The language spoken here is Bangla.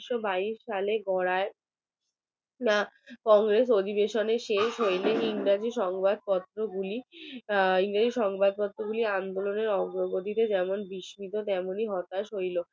কংগ্রেস অধিবাসন শেষ হইলে ইংরেজিসংবাদপত্র গুলি আন্দোলনের অগ্রগতিতে যেমন বিস্মিত তেমনি হতাশ হইল